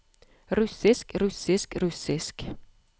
russisk russisk russisk